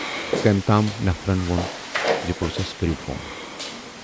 کٔمۍ تام نفرن وون زِ پُلسس کٔرِو فون۔